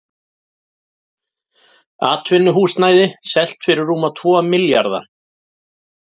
Atvinnuhúsnæði selt fyrir rúma tvo milljarða